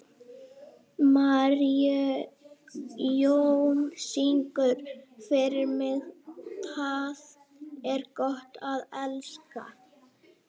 Marijón, syngdu fyrir mig „Tað er gott at elska“.